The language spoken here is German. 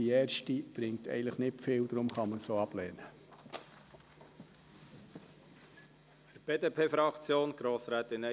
Die Planungserklärung 6 bringt eigentlich nicht viel, deshalb kann man sie ablehnen.